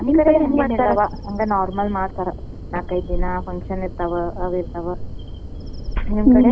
ನಮ್ ಕಡೆ ಎಲ್ಲ normal ಮಾಡ್ತಾರ ನಾಲ್ಕೈದ ದಿನ function ಇರ್ತಾವ ನಿಮ್ಮ ಕಡೆ?